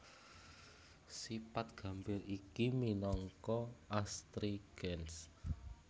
Sipat gambir iki minangka astrigens